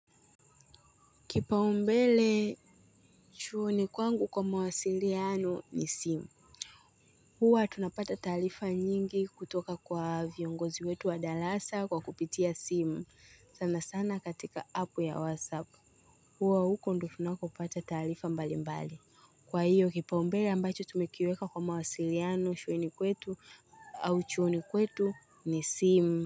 Kipaumbele chuoni kwangu kwa mawasiliano ni simu. Huwa tunapata taarifa nyingi kutoka kwa viongozi wetu wa darasa kwa kupitia simu. Sana sana katika app ya WhatsApp. Huwa huko ndio tunakopata taarifa mbalimbali. Kwa hiyo kipaumbele ambacho tumekiweka kwa mawasiliano shuleni kwetu au chuoni kwetu ni simu.